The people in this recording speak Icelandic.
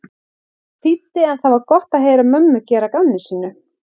þýddi en það var gott að heyra mömmu gera að gamni sínu.